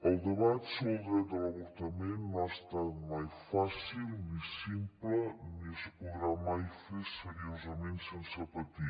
el debat sobre el dret a l’avortament no ha estat mai fàcil ni simple ni es podrà mai fer seriosament sense patir